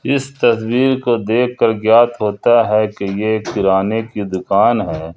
इस तस्वीर को देखकर ज्ञात होता है कि ये एक किराने की दुकान है।